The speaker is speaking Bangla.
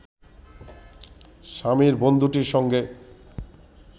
স্বামীর বন্ধুটির সঙ্গে